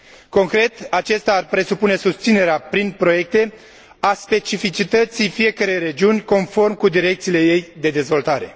Concret, aceasta ar presupune susținerea, prin proiecte, a specificității fiecărei regiuni, conform cu direcțiile ei de dezvoltare.